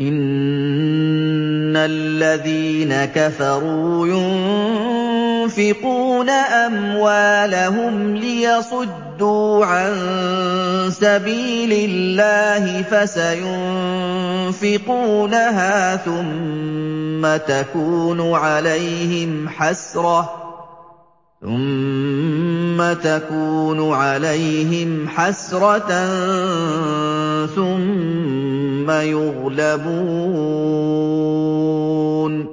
إِنَّ الَّذِينَ كَفَرُوا يُنفِقُونَ أَمْوَالَهُمْ لِيَصُدُّوا عَن سَبِيلِ اللَّهِ ۚ فَسَيُنفِقُونَهَا ثُمَّ تَكُونُ عَلَيْهِمْ حَسْرَةً ثُمَّ يُغْلَبُونَ ۗ